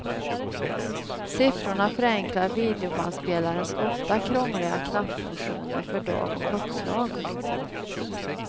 Siffrorna förenklar videobandspelarens ofta krångliga knappfunktioner för dag och klockslag.